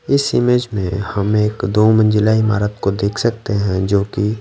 इस इमेज में हम एक दो मंजिला ईमारत को देख सकते हैं जोकि--